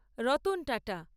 Ratan Tata